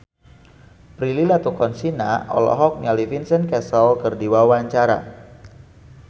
Prilly Latuconsina olohok ningali Vincent Cassel keur diwawancara